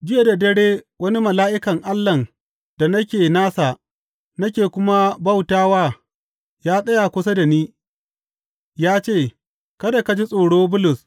Jiya da dare wani mala’ikan Allahn da nake nasa nake kuma bauta wa ya tsaya kusa da ni ya ce, Kada ka ji tsoro, Bulus.